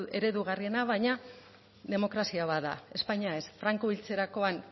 eredugarriena baina demokrazia bat da espainia ez franco hiltzerakoan